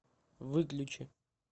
выключи